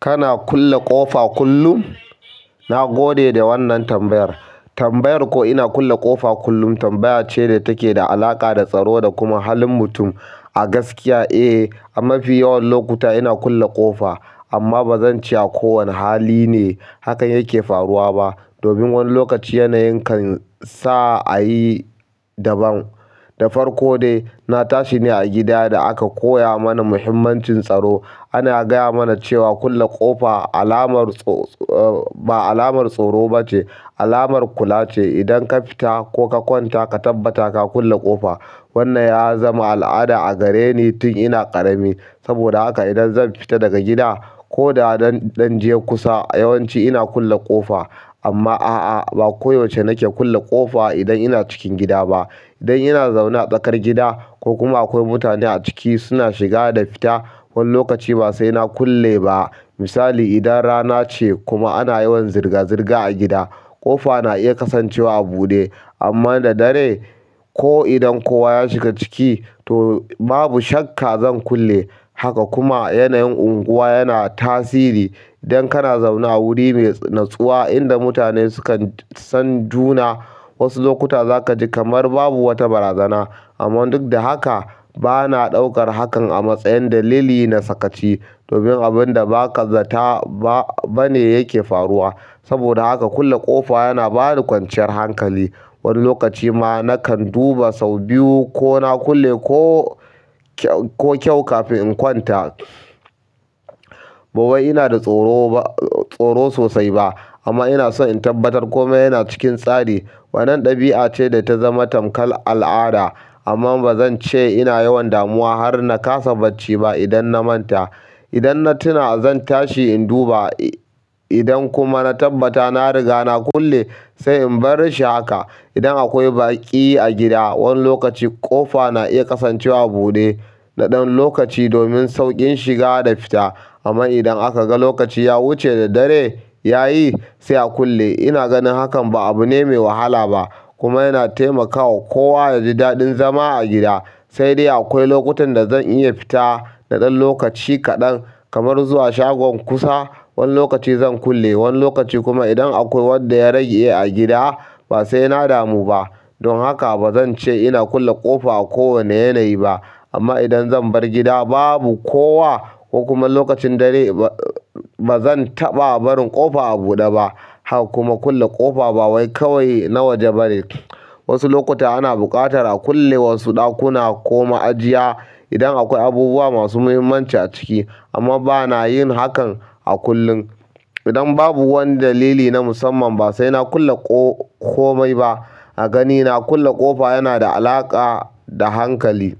Kana kulle ƙofa kullum? Na gode da wannan tambayar. Tambayar ko ina kulle ƙofa kullum tambaya ce da take da alaƙa da tsaro da kuma halin mutum. A gaskiya, eh, a mafi yawan lokuta ina kulle ƙofa amma ba zan ce a kowane hali ne hakan yake faruwa ba. Domin wani lokaci yanayin kan sa a yi daban. Da farko dai, na tashi ne a gida da aka koya mana muhimmancin tsaro. Ana gaya mana cewa kulle ƙofa alamar tsoro-- ba alamar tsoro ba ce, alamar kula ce. Idan ka fita ko ka kwanta ka tabbata ka kulle ƙofa. Wannan ya zama al'ada a gare ni tun ina ƙarami. Saboda haka idan zan fita daga gida ko da zan dan je kusa, yawanci ina kulle ƙofa. Amma a'a ba koda yaushe nake kulle ƙofa idan ina cikin gida ba idan ina zaune a tsakar gida ko kuma akwai mutane a ciki suna shiga da fita, wani lokaci ba sai na kulle ba. Misali, idan rana ce kuma ana yawan zirga-zirga a gida, ƙofa na iya kasancewa a buɗe amma da dare ko idan kowa ya shiga ciki, to babu shakka zan kulle haka. Kuma yanayin unguwa yana tasiri. Idan kana zaune a wuri mai natsuwa inda mutane sukan san juna, wasu lokuta za ka ji kamar babu wata barazana. Amman duk da haka, ba na ɗaukar hakan a matsayin dalili na sakaci domin abin da ba ka zata ba ne yake faruwa. Saboda haka kulle ƙofa yana bani kwanciyar hankali. Wani lokaci ma nakan duba sau biyu ko na kulle ko, ko kyau kafin in kwanta. Ba wai ina da tsoro ba-- tsoro sosai ba amma ina so in tabbatar kome yana cikin tsari. Wannan ɗabi'a ce da ta zama tamƙal al'ada amma ba zan ce ina yawan damuwa har na kasa bacci ba idan na manta. Idan na tuna, zan tashi in duba. Idan kuma na tabbata na riga na kulle, sai in bar shi haka. Idan akwai baƙi a gida, wani lokaci ƙofa na iya kasancewa a buɗe na ɗan lokaci domin sauƙin shiga da fita. Amma idan aka ga lokaci ya wuce da dare ya yi, sai a kulle. Ina ganin hakan ba abu ne mai wahala ba kuma yana taimakawa kowa yaji daɗin zama a gida sai dai akwai lokutan da zan iya fita na ɗan lokaci kaɗan kamar zuwa shagon kusa, wani lokaci zan kulle, wani lokaci kuma idan akwai wanda ya rage a gida ba sai na damu ba. Don haka ba zan ce ina kulle ƙofa a kowane yanayi ba. Amma idan zan bar gida babu kowa ko kuma lokacin dare, ba zan taɓa barin ƙofa a buɗe ba. Kuma kulle ƙofa ba wai kawai na waje bane. Wasu lokuta ana buƙatar a kulle wasu ɗakuna ko ma ajiya idan akwai abubuwa masu muhimmanci a ciki. Amma ba na yin hakan a kullum. Idan babu wani dalili na musamman, ba sai na kulle komai ba. A ganina, kulle ƙofa yana da alaƙa da hankali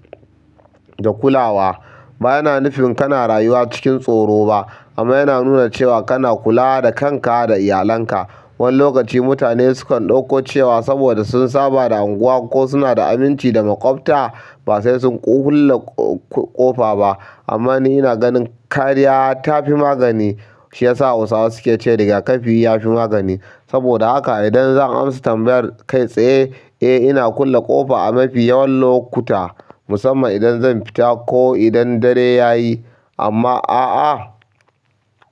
da kulawa. Ba yana nufin kana rayuwa cikin tsoro ba amma yana nuna cewa kana kula da kanka da iyalanka. Wani lokaci mutane sukan ɗauko cewa saboda sun saba da unguwa ko suna da aminci da maƙwabta ba sai sun kulle ƙofa ba. Amma ni ina ganin kariya ta fi magani. Shi ya sa Hausawa suke cewa "Riga kafi ya fi magani." Saboda haka idan zan amsa tambayar kai tsaye, eh, ina kulle ƙofa a mafi yawan lokuta musamman idan zan fita ko idan dare ya yi. Amma a'a,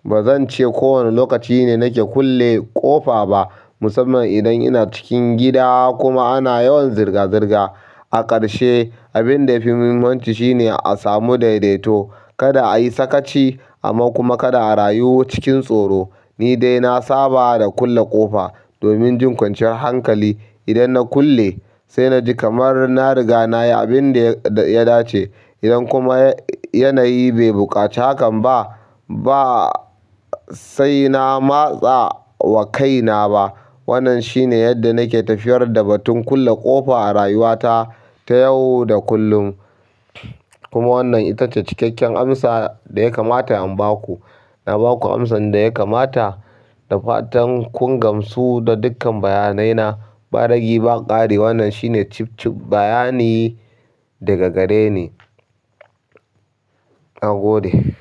ba zan ce kowane lokaci ne nake kulle ƙofa ba musamman idan ina cikin gida kuma ana yawan zirga-zirga. A ƙarshe, abin da yafi muhimmanci shine a samu daidaito. Kada a yi sakaci amma kuma kada a rayu cikin tsoro. Ni dai na saba da kulle ƙofa domin jin kwanciyar hankali. Idan na kulle, sai na ji kamar na riga na yi abin da ya ɗace. Idan kuma yanayi bai buƙaci hakan ba, ba sai na matsa wa kaina ba. Wannan shi ne yarda nake tafiyar da batun kulle ƙofa a rayuwata ta yau da kulun kuma wannan ita ce cikakken amsa da ya kamata in ba ku. Na ba ku amsan da ya kamata da fatan kun gamsu da dukkan bayanai na. Ba ragi ba ƙari. Wannan shine cif-cif bayani daga gare ni. Na gode.